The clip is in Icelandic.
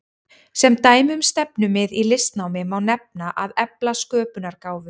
Sem dæmi um stefnumið í listnámi má nefna að efla sköpunargáfu.